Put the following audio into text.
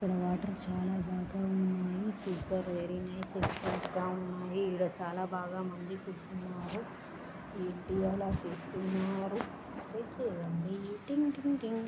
ఇక్కడ వాటర్ చాలా బాగా వున్నది సూపర్ వెరీ నైస్ ఎక్సలెంట్ గా ఉన్నాది ఇక్కడ చాలా బాగా మంది కూర్చొని వున్నారు ఏంటి ఆలా చేస్తున్నారు చేయండి టింగ్ టింగ్ టింగ్.